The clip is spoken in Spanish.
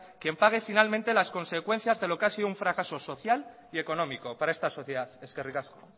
quien pague finalmente las consecuencias de lo que ha sido un fracaso social y económico para esta sociedad eskerrik asko